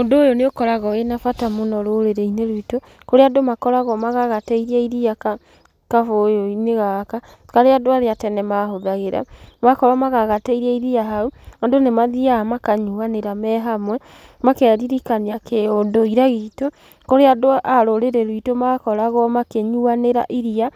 Ũndũ ũyũ nĩ ũkoragwo wĩna bata mũno rũrĩrĩ-inĩ rwitũ, kũrĩa andũ makoragwo magagatĩirie iria gabũyĩ-inĩ gaka, karĩa andũ arĩa a tene mahũthagĩra. Makorwo magagatĩirie iria hau, andũ nĩ mathiaga makanyuanĩra me hamwe, makeririkania kĩ ũndũire gitũ, kũrĩa andũ a rũrĩrĩ rwitũ makoragwo makĩnyuanĩra iria